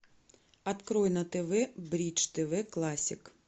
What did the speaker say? открой на тв бридж тв классик